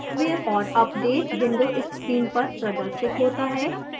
software & updates window screen पर प्रदर्शित होता है